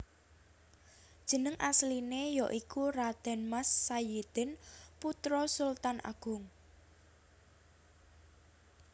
Jeneng asliné ya iku Raden Mas Sayidin putra Sultan Agung